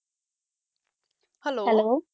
hello